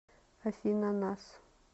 афина нас